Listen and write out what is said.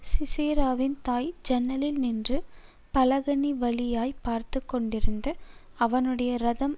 சிசெராவின் தாய் ஜன்னலில் நின்று பலகணிவழியாய்ப் பார்த்துக்கொண்டிருந்து அவனுடைய ரதம்